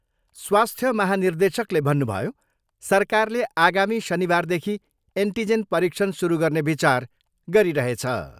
स्वास्थ्य महानिर्देशकले भन्नुभयो, सरकारले आगामी शनिबारदेखि एन्टिजेन परीक्षण सुरु गर्ने विचार गरिरहेछ।